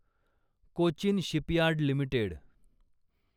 Cochin shipyard limited